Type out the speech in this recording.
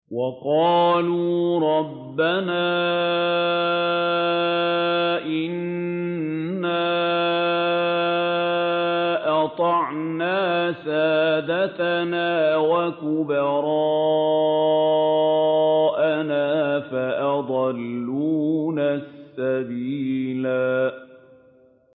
وَقَالُوا رَبَّنَا إِنَّا أَطَعْنَا سَادَتَنَا وَكُبَرَاءَنَا فَأَضَلُّونَا السَّبِيلَا